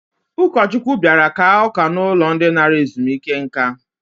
Ụkọchukwu bịara kaa ụka n'ụlọ ndị nara ezumike nka.